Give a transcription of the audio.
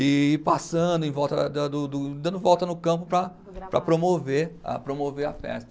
E passando em volta da do do, dando volta no campo para, para promover, para promover a festa.